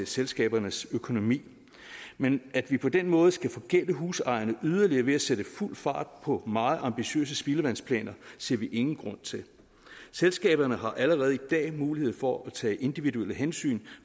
selskabernes økonomi men at vi på den måde skal forgælde husejerne yderligere ved at sætte fuld fart på meget ambitiøse spildevandsplaner ser vi ingen grund til selskaberne har allerede i dag mulighed for at tage individuelle hensyn